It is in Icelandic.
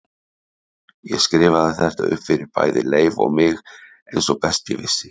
Ég skrifaði þetta upp fyrir bæði Leif og mig eins og best ég vissi.